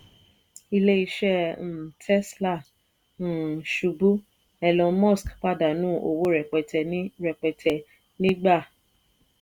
ilé iṣẹ́ um tesla um ṣubú elon musk pàdánù owó rẹpẹtẹ ní rẹpẹtẹ ní gbà.